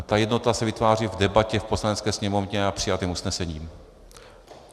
A ta jednota se vytváří v debatě v Poslanecké sněmovně a přijatým usnesením.